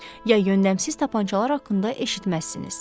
ya yönləmsiz tapançalar haqqında eşitməzsiniz.